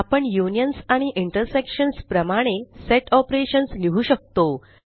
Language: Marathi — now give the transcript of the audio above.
आपण युनियन्स आणि इंटरसेक्शन्स प्रमाणे सेट ऑपरेशन्स लिहु शकतो